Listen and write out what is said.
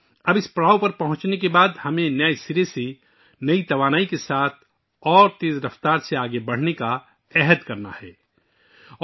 اب اس سنگ میل تک پہنچنے کے بعد، ہمیں نئی توانائی کے ساتھ اور تیز رفتاری کے ساتھ نئے سرے سے آگے بڑھنے کا عزم کرنا ہوگا